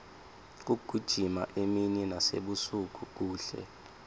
kugijima emini nasebusuku kuhle